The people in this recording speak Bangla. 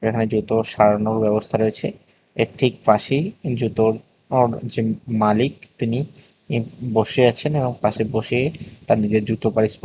এখানে জুতো সারানোর ব্যবস্থা রয়েছে এর ঠিক পাশেই জুতোর র যে মালিক তিনি বসে আছেন এবং পাশে বসে তার নিজের জুতো পালিশ কর--